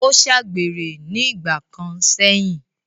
ó ṣàgbèrè ní ìgbà kan sẹ̀yìn.